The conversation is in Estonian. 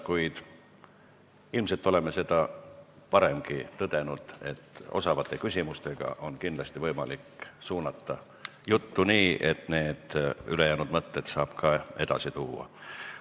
Kuid me oleme seda varemgi tõdenud, et osavate küsimustega on kindlasti võimalik suunata sündmusi nii, et need ülejäänud mõtted saab ka edasi anda.